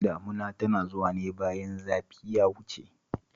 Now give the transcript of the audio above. Damuna tana zuwa ne bayan zafi ya wuce